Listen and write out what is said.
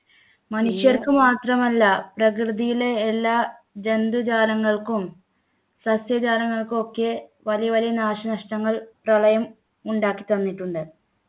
മനുഷ്യർക്ക് മാത്രമല്ല പ്രകൃതിയിലെ എല്ലാ ജന്തുജാലങ്ങൾക്കും സസ്യജാലങ്ങൾക്കും ഒക്കെ വലിയ വലിയ നാശനഷ്ടങ്ങൾ പ്രളയം ഉണ്ടാക്കി തന്നിട്ടുണ്ട്